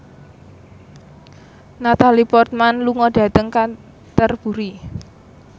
Natalie Portman lunga dhateng Canterbury